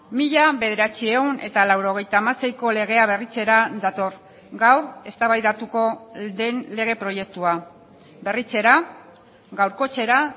mila bederatziehun eta laurogeita hamaseiko legea berritzera dator gaur eztabaidatuko den lege proiektua berritzera gaurkotzera